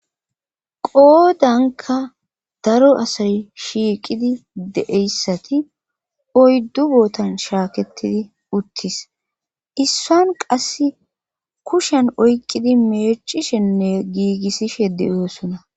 Qoodanka daro asay shiiqidi de'eyssati oyddu bootan shaakettidi uttis issan qass kushen oyqqidi meechishenne giigissishe deyoosona.